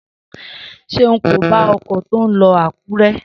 Seun kò bá ọkọ̀ tí ó ń lọ Akure|